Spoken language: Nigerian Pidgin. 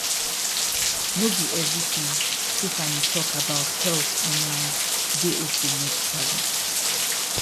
no be everything tiffany talk about health online dey okay medically